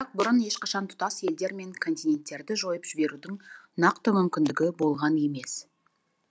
бірақ бұрын ешқашан тұтас елдер мен континеттерді жойып жіберудің нақты мүмкіндігі болған емес